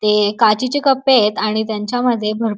ते काचीचे कपयत आणि त्याच्या मध्ये भर --